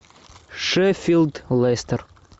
шеффилд лестер